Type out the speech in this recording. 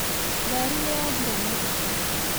Ngari nĩyathira maguta